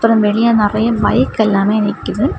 அப்புறம் வெளிய நிறைய பைக் எல்லாமே நிக்குது.